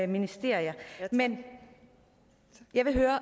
ministerier men jeg vil høre